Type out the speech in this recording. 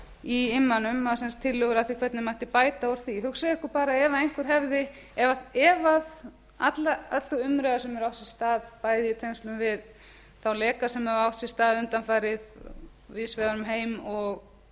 í immanum tillögur að því hvernig mætti bæta úr því hugsið ykkur bara ef öll sú umræða sem hefur átt sér stað bæði í tengslum við þá leka sem hafa átt sér stað undanfarið víðs vegar um heim og